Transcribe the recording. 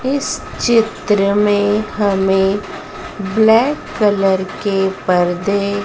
इस चित्र में हमें ब्लैक कलर के पर्दे--